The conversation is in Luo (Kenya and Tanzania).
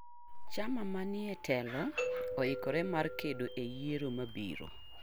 Chama manietelo oikore mar kedo e yiero mabiro.